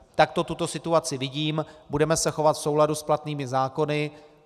Takto tuto situaci vidím, budeme se chovat v souladu s platnými zákony.